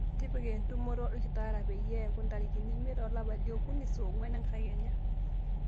tipika entumoto olkitarri peyie eeku ntarikini iimiet olapa li okuni saa onguan enkakenya